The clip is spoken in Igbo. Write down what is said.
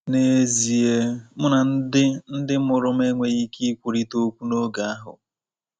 N’ezie mụ na ndị ndị mụrụ m enweghị ike ikwurịta okwu n’oge ahụ.